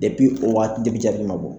o waati jabi ma bɔ